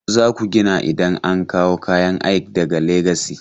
Za ku yi gini idan an kawo kayan aik daga Legasi.